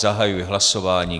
Zahajuji hlasování.